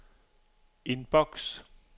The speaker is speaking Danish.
indboks